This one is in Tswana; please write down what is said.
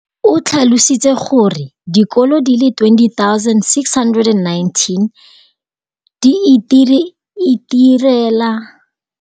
o tlhalositse gore dikolo di le 20 619 di itirela le go iphepela barutwana ba le 9 032 622 ka dijo go ralala naga letsatsi le lengwe le le lengwe.